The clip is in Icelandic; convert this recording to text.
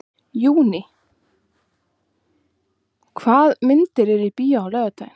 Júní, hvaða myndir eru í bíó á laugardaginn?